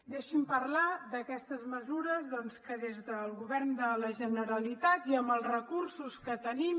deixi’m parlar d’aquestes mesures doncs que des del govern de la generalitat i amb els recursos que tenim